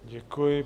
Děkuji.